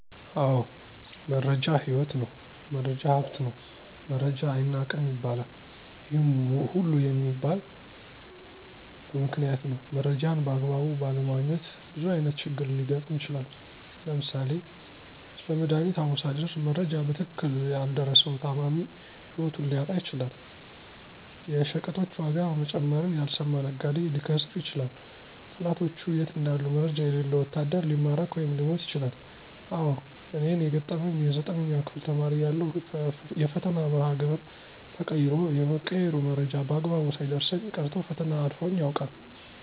አዎ! መረጃ ህይወት ነው፣ መረጃ ሀብት ነው መረጃ አይናቅም ይባለል። ይህ ሁሉ የሚባለ በምክንያት ነው። መረጃን በአግባቡ ባለማግኘት ብዙ አይነት ችግር ሊገጥም ይችላል። ለምሳሌ፦ ስለመዳኒት አወሳሠድ መረጃ በትክክል ያልደረሠው ታማሚ ህይወቱን ሊያጣ ይችላል። የሸቀጦች ዋጋ መጨመርን ያልሰማ ነጋዴ ሊከስር ይችላል። ጠላቶቹ የት እንዳሉ መረጃ የሌለው ወታደር ሊማረክ ወይም ሊሞት ይችላል። አዎ! እኔን የገጠመኝ የ9ኛ ክፍል ተማሪ እያለሁ የፈተና መርሃ ግብር ተቀይሮ የመቀየሩ መረጃ በአግባቡ ሳይደርሠኝ ቀርቶ ፈተና አልፎኝ ያውቃል።